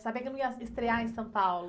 Saber que não ia estrear em São Paulo.